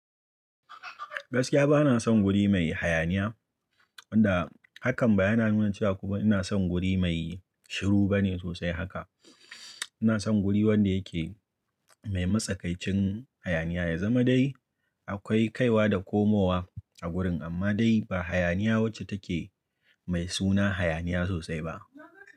Gaskiya bana son guri mai hayaniya, wanda hakan ba yana nuna cewa kuma ina son guri mai shiru bane sosai haka. Ina son guri wanda yake mai matsakaicin hayaniya, ya zama dai akwai kaiwa da komowa a gurin amma dai ba hayaniya wacce take mai suna hayaniya sosai ba.